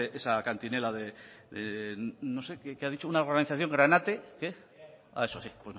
esa cantinela de no sé que ha dicho de una organización granate qué ah eso sí